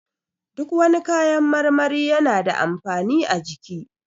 Duk wani kayan marmari yana da amfani a jiki